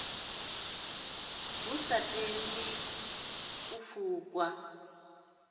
hu sa tandwi ḽino fukwa